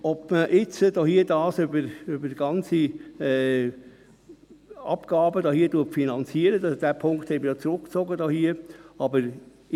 Ob das über Abgaben finanziert wird – diesen Punkt haben wir zurückgezogen – wird sich zeigen.